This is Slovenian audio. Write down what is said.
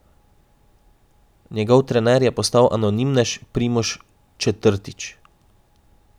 Njegov trener je postal anonimnež Primož Četrtič.